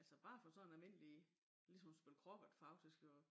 Altså bare for sådan en almindelig ligesom at spille kroket faktisk og